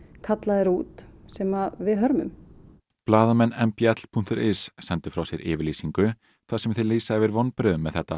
kallaðir út sem við hörmum blaðamenn m b l punktur is sendu frá sér yfirlýsingu þar sem þeir lýsa yfir vonbrigðum með þetta